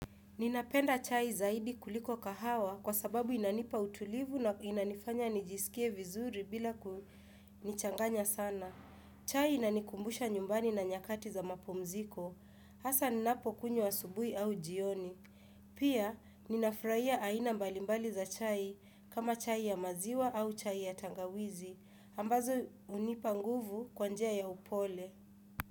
Ninapenda chai zaidi kuliko kahawa kwa sababu inanipa utulivu na inanifanya nijisikie vizuri bila kunichanganya sana. Chai inanikumbusha nyumbani na nyakati za mapumziko. Hasa ninapo kunywa asubuhi au jioni. Pia, ninafurahia aina mbalimbali za chai kama chai ya maziwa au chai ya tangawizi. Ambazo hunipa nguvu kwa njia ya upole.